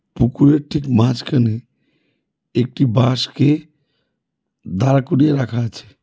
পুকুরের ঠিক মাঝখানে একটি বাঁশকে দাঁড় করিয়ে রাখা আছে।